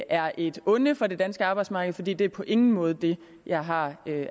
er et onde for det danske arbejdsmarked fordi det er på ingen måde det jeg har